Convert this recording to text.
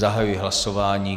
Zahajuji hlasování.